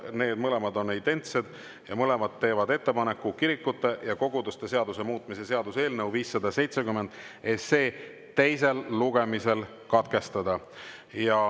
Need ettepanekud on identsed, mõlemad teevad ettepaneku kirikute ja koguduste seaduse muutmise seaduse eelnõu 570 teine lugemine katkestada.